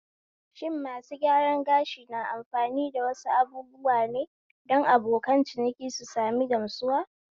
Shin masu gyaran gashi na amfani da wasu abubuwa ne don abokan ciniki su sami gamsuwa?